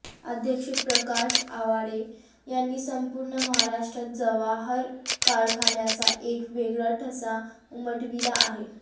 अध्यक्ष प्रकाश आवाडे यांनी संपूर्ण महाराष्ट्रात जवाहर कारखान्याचा एक वेगळा ठसा उमटविला आहे